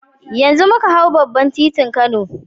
Yanzu muka hau babban titin kano